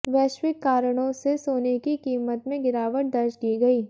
वैश्विक कारणों से सोने की कीमत में गिरावट दर्ज की गई